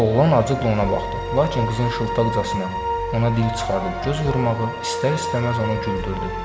Oğlan acıqla ona baxdı, lakin qızın şıltaqcasına ona dil çıxarıb göz vurmağı istər-istəməz onu güldürdü.